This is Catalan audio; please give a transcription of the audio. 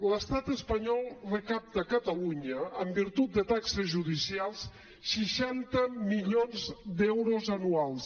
l’estat espanyol recapta a catalunya en virtut de taxes judicials seixanta milions d’euros anuals